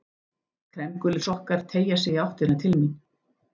Kremgulir sokkar teygja sig í áttina til mín.